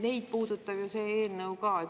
Neid puudutab ju see eelnõu ka.